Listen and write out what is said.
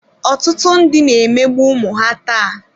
Ọtụtụ ndị na-emegbu ụmụ ha taa.